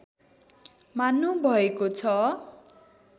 मान्नु भएको छ